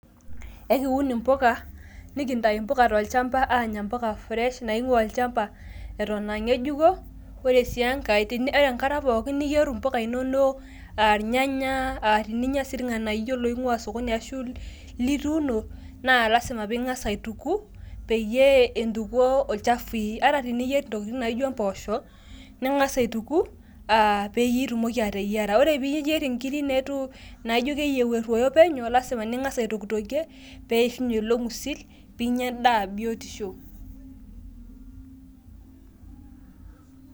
ekiun impuka, nikintayu mpuka tolchampa aanya mpuka fresh nainguaa olduka eton aa ngejuko, ore sii enkae, ore enkata pookin ninyier mpuku inonon, aarnyanya, aa teninyia sii irnganayio loinguaa sokoni ata ilituuno, ning'asa aituku, peyieee intukuoo ilchafui, ata niyier intokitin naijo mpoosho asima pee ing'as aituku pee itumoki ateyiara. ore pee iyier inkiri naijo keyieu eruoyo penyo lasima pee ingas aitokitokie pee eishunye io ng'usil.